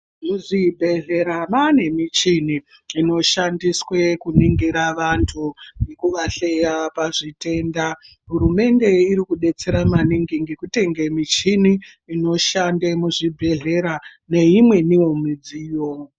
Mu zvibhehlera mane michini ino shandiswe kuningira vantu ngekuva sheya pa zvitenda hurumende iri kudetsera maningi ngeku tenge michini inoshande mu zvibhedhlera ne imweniwo midziyo.